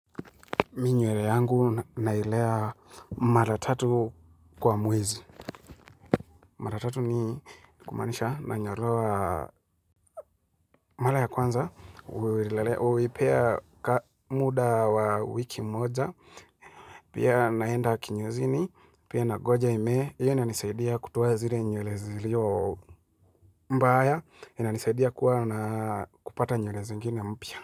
Mi nywele yangu nailea maratatu kwa muwezi. Maratatu ni kumanisha na nyolewa mara ya kwanza. Uwelelea uwepea muda wa wiki moja. Pia naenda kinyozini. Pia nangoja imee Iyo inanisaidia kutoa zile nywele iliyo mbaya. Ina nisaidia kuwa na kupata nywele zingine mpya.